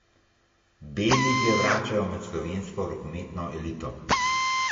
B lige vračajo med slovensko rokometno elito.